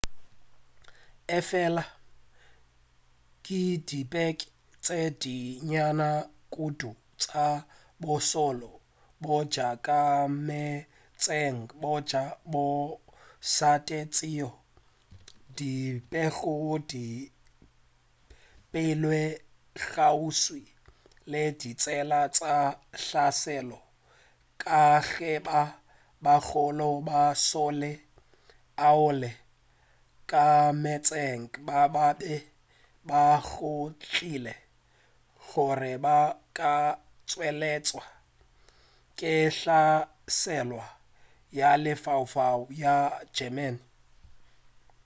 efela ke dikepe tše di nnyane kudu tša bošole bja ka meetseng bja mošate tšeo di bego di beilwe kgauswi le ditsela tša hlaselo ka ge ba bagolo ba mašole ao a ka meetseng ba be ba tšhogile gore ba ka nweletšwa ke hlaselo ya lefaufau ya germany